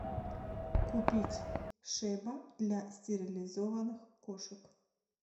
купить шеба для стерилизованных кошек